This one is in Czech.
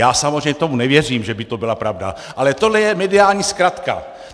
Já samozřejmě tomu nevěřím, že by to byla pravda, ale tohle je mediální zkratka.